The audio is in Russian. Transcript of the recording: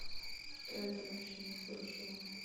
что это вообще не слышала